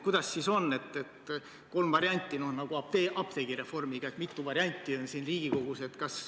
Teil on kolm varianti nagu apteegireformi puhul, millest mitu eelnõu on siin Riigikogus.